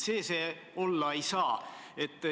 Nii et see see olla ei saa.